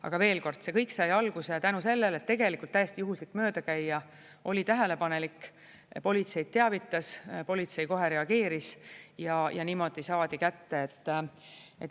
Aga veel kord: see kõik sai alguse tänu sellele, et tegelikult täiesti juhuslik möödakäija oli tähelepanelik, politseid teavitas, politsei kohe reageeris ja niimoodi saadi kätte.